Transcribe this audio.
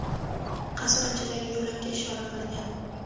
qasr ichidagi yo‘lakka ishora qilgan.